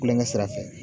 Kulonkɛ sira fɛ